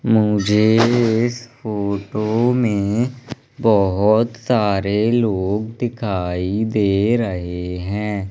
मुझे इस फोटो में बहोत सारे लोग दिखाई दे रहे है।